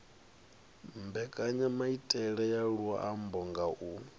mbekanyamaitele ya luambo nga u